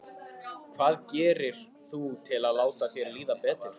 Hvað gerir þú til að láta þér líða betur?